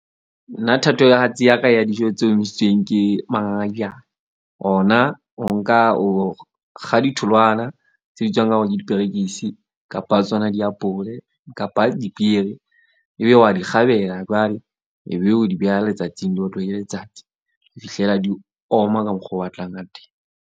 Nna thatohatsi ya ka ya dijo tse omisitsweng ke mangangajane. Ona o nka o kga ditholwana tse bitswang ka hore ke diperekisi kapa tsona diapole kapa dipieri. Ebile wa di kgabela, jwale ebe o di beha letsatsing di otlwe ke letsatsi, ho fihlela di oma ka mokgo o batlang ka teng.